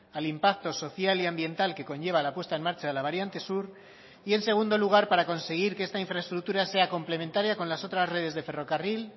al impacto social y ambiental que conlleva la puesta en marcha de la variante sur y en segundo lugar para conseguir que esta infraestructura sea complementaria con las otras redes de ferrocarril